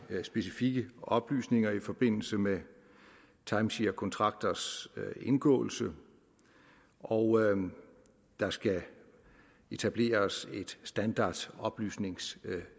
specifikke oplysninger i forbindelse med timesharekontrakters indgåelse og der skal etableres et standardoplysningsskema